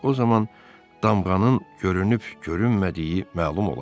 O zaman damğanın görünüb-görünmədiyi məlum olar.